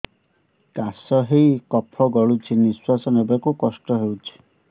କାଶ ହେଇ କଫ ଗଳୁଛି ନିଶ୍ୱାସ ନେବାକୁ କଷ୍ଟ ହଉଛି